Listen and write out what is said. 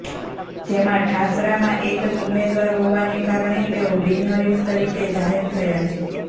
જેમાં ઠાસરામાં એક જ ઉમેદવાર હોવાને કારણે તેઓ બિનહરીફ તરીકે જાહેર થયા છે